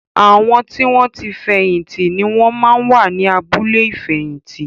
Àwọn tí wọn ti fẹ̀yìn tì ni wón máa ń wà ní abúlé ìfẹ̀yìntì